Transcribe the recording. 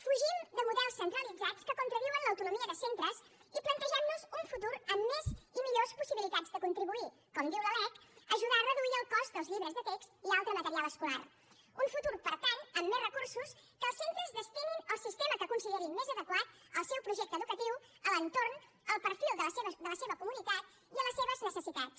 fugim de models centralitzats que contradiuen l’autonomia de centres i plategem nos un futur amb més i millors possibilitats de contribuir com diu la lec a ajudar a reduir el cost dels llibres de text i altre material escolar un futur per tant amb més recursos que els centres destinin al sistema que considerin més adequat al seu projecte educatiu a l’entorn al perfil de la seva comunitat i a les seves necessitats